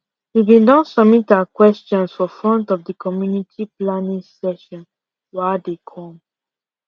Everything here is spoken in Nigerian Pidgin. we been don submit our questions for front of the community planning session wa dey come